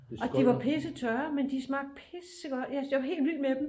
Og de var pissetørre men de smagte pissegodt jeg var helt vild med dem